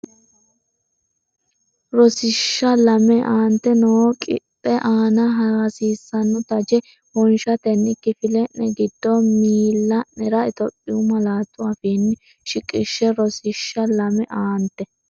Rosiishsha Lame Aante noo qixxe aana hasiissanno taje wonshatenni kifile’ne giddo miil- la’nera Itophiyu malaatu afiinni shiqishshe Rosiishsha Lame Aante.